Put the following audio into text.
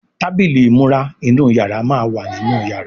Tábìlì ìmúra inú yàrá má wá nínú yàrá.